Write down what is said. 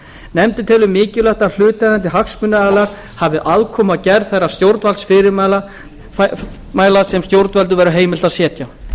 nefndin telur mikilvægt að hlutaðeigandi hagsmunaaðilar hafi aðkomu að gerð þeirra stjórnvaldsfyrirmæla sem stjórnvöldum verður heimilt að setja